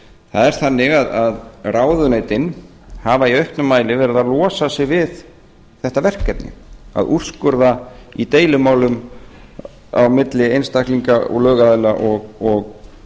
það er þannig að ráðuneytin hafa í auknum mæli verið að losa sig við þetta verkefni að úrskurða í deilumálum á milli einstaklinga og lögaðila og